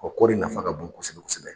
kɔ kɔɔri nafa ka bon kɔsɛbɛ kɔsɛbɛ.